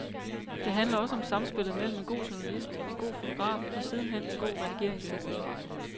Det handler også om samspillet mellem en god journalist, en god fotograf og sidenhen en god redigeringstekniker.